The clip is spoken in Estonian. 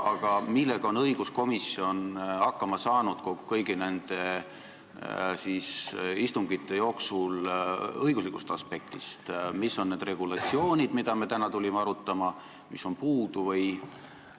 Aga millega on õiguskomisjon hakkama saanud kõigi nende istungite jooksul õiguslikust aspektist, mis on need regulatsioonid, mida me täna tulime arutama, ja mis on puudu?